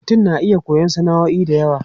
Mutum na iya koyon sana'o'i da yawa.